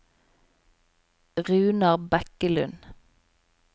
Runar Bekkelund